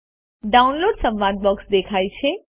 downloads સંવાદ box દેખાય છે